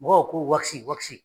Mɔgɔw ko